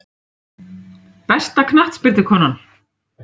Besta knattspyrnukonan?